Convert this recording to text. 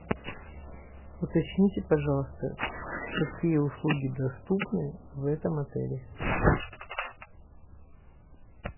уточните пожалуйста какие услуги доступны в этом отеле